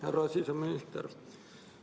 Härra siseminister!